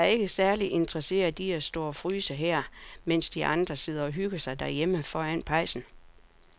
Jeg er ikke særlig interesseret i at stå og fryse her, mens de andre sidder og hygger sig derhjemme foran pejsen.